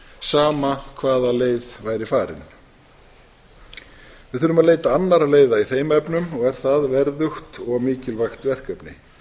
sama hvaða leið væri farin við þurfum að leita annarra leiða í þeim efnum og er það verðugt og mikilvægt verkefni